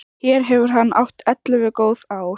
Hér hefur hann átt ellefu góð ár.